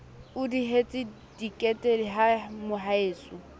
o dihetse tekete he mohaeso